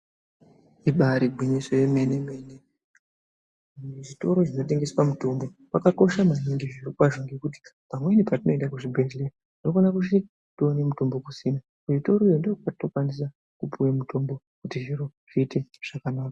Ibari gwinyiso emene mene zvitoro zvinotengeswa mitombo, zvakakosha maningi zvirokwazvo ngekuti pamweni petinoenda kuzvibhedhleya tinokona kusvika toone mitombo kusina kuzvitoroyo ndiko kwetinokwanisa kupuwe mitombo kuti zviro zviite zvakanaka.